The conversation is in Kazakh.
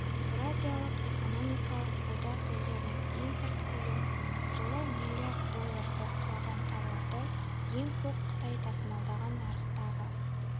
еуразиялық экономикалық одақ елдерінің импорт көлемі жылы миллиард долларды құраған тауарды ең көп қытай тасымалдаған нарықтағы